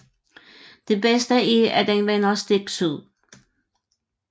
Det bedste er at den vender stik syd